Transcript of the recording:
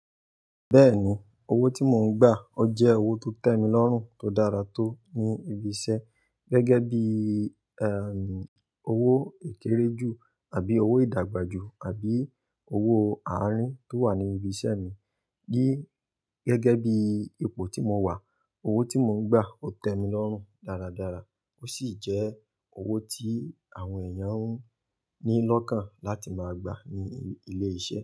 Bẹ́ẹ̀ni, owó tí mò ń gbà ó jẹ́ owó tó tẹ́ mi lọ́rùn tó dára tó ní ibi iṣẹ́ gẹ́gẹ́ bí, owó ìkéré ju àbí owó ìdàgbàjú àbí owó àárín tó wà ní ibi iṣẹ́ mi. Ní gẹ́gẹ́ bí ipò tí mo wà, owó tí mò ń gbà ó tẹ́ mi lọ́rùn dáradára. Ó sì jẹ́ owó tí àwọn èèyàn ń ní lọ́kàn láti máa gbà ní ilé iṣẹ́